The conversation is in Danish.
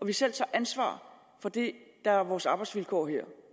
vi selv tager ansvar for det der er vores arbejdsvilkår her